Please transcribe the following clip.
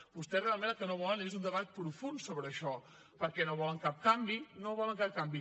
vostès realment el que no volen és un debat profund sobre això perquè no volen cap canvi no volen cap canvi